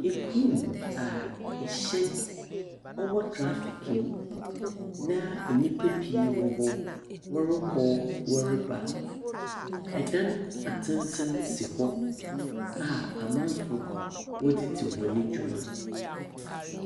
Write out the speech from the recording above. Kurom a hyɛn wɔ traffic mu na nyimpa pii wɔ hɔ, wɔrokɔ, wɔreba. Adan atsentsen si hɔ a amanfoɔ wɔdze dzi hɔn dwuma.